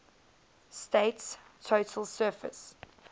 state's total surface